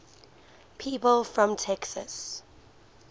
people from texas